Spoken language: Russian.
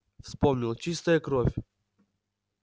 вспомнил чистая кровь